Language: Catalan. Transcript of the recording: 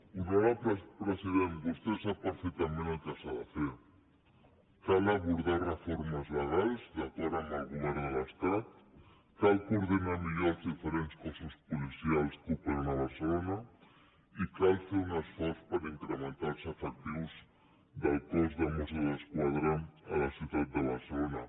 honorable president vostè sap perfectament el que s’ha de fer cal abordar reformes legals d’acord amb el govern de l’estat cal coordinar millor els diferents cossos policials que operen a barcelona i cal fer un esforç per incrementar els efectius del cos de mossos d’esquadra a la ciutat de barcelona